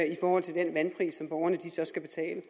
i forhold til den vandpris som borgerne så skal betale